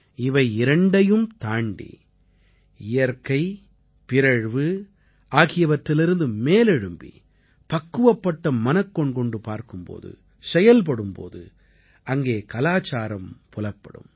இவை இரண்டையும் தாண்டி இயற்கை பிறழ்வு ஆகியவற்றிலிருந்து மேலெழும்பி பக்குவப்பட்ட மனக்கண் கொண்டு பார்க்கும் போதும் செயல்படும் போதும் அங்கே கலாச்சாரம் புலப்படும்